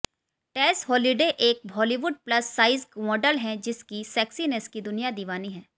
टेस Holliday एक Hollywood plus size model हैं जिसकी सेक्सीनेस की दुनिया दीवानी हैं